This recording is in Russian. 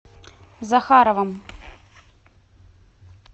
захаровым